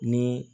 Ni